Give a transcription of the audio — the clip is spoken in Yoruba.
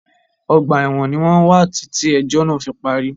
Ọgbà ẹ̀wọ̀n ní wọ́n wà títí ẹ̀jọ́ náà fí parí.